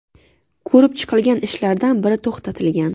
Ko‘rib chiqilgan ishlardan biri to‘xtatilgan.